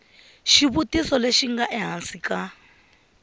xivutiso lexi nga ehansi ka